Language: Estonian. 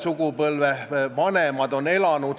Siin toimus suur arutelu ja probleemiks ei olnud trahvid.